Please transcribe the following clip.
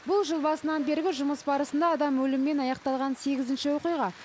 бұл жыл басынан бергі жұмыс барысында адам өлімімен аяқталған сегізінші оқиға